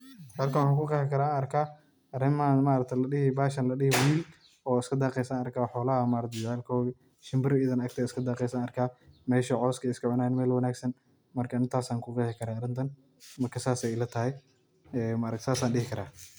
Halkan waxan ku qexi kara oo arkaa bahashan ladihi wiyil, oo iska daqesa arka oo xolaha maarka jecelkodi, shimbir iyadana iska daqesa arka meshaa cawska iska cunayan mel wanagsan ,marka intas aan ku qexi karaa aniga sas an dihi karaa.